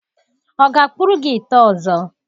Ọ ga-akpụrụ gị ite ọzọ?